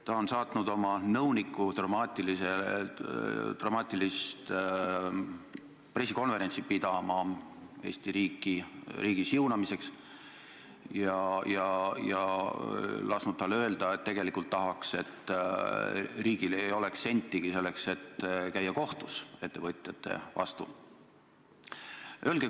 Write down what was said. Ta on saatnud oma nõuniku dramaatilist pressikonverentsi pidama Eesti riigi siunamiseks ja lasknud tal öelda, et ta tegelikult tahaks, et riigil ei oleks sentigi selleks, et ettevõtjate vastu kohtus käia.